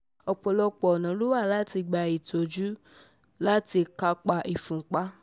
ọ̀pọ̀lọpọ̀ ọ̀nà ló wà láti gbà tọ́jú tọ́jú àti láti kápá ìfúnpá